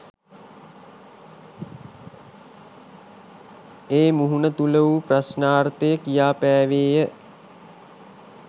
ඒ මහුණු තුළ වූ ප්‍රශ්නාර්ථය කියාපෑවේය